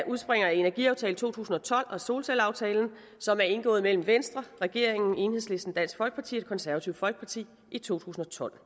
udspringer af energiaftale to tusind og tolv og solcelleaftalen som er indgået mellem venstre regeringen enhedslisten dansk folkeparti og det konservative folkeparti i to tusind og tolv